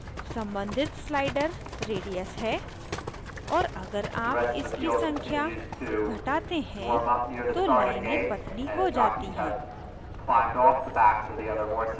सम्बंधित slider radius है और अगर आप इसकी संख्या घटाते हैं तो लाइनें पतली हो जाती हैं